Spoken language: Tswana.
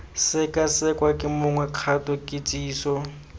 sekasekwa ke mongwe kgato kitsiso